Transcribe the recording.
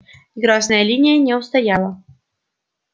грозная линия не устояла